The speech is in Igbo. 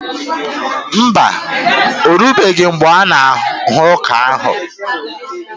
Mba, orubeghi mgbe a-ga aghọ ọka ahụ